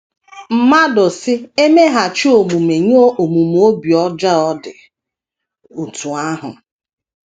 Mmadụ si emeghachi omume nye omume obi ọjọọ dị otú ahụ?